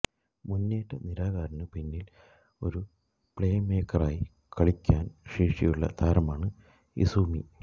മുന്നേറ്റ നിരക്കാരന് പിന്നിൽ ഒരു പ്ലേമേക്കറായി കളിക്കാന് ശേഷിയുള്ള താരമാണ് ഇസൂമി